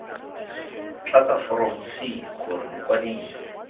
tlatsa foromo c gore mokwadise